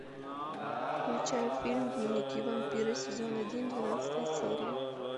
включай фильм дневники вампира сезон один двенадцатая серия